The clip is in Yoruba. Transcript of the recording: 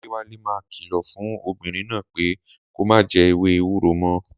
Adéwálé máa kìlọ̀ fún obìnrin náà pé kó má jẹ ewé ewúro mọ́